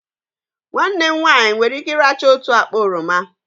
Nwanne m nwanyị nwere ike ị́rachaa otu akpa oroma